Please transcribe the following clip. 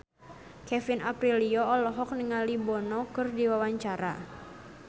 Kevin Aprilio olohok ningali Bono keur diwawancara